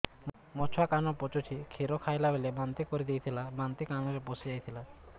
ମୋ ଛୁଆ କାନ ପଚୁଛି କ୍ଷୀର ଖାଇଲାବେଳେ ବାନ୍ତି କରି ଦେଇଥିଲା ବାନ୍ତି କାନରେ ପଶିଯାଇ ଥିଲା